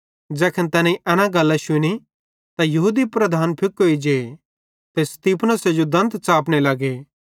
ज़ैखन तैनेईं एना गल्लां शुनी त यहूदी लीडर फुकोई जे ते स्तिफनुसे जो दंत लगे च़ापने